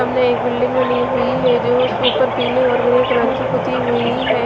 सामने एक बिल्डिंग बनी हुई है जो उसे ऊपर पीले और ग्रे कलर की पुती हुई है।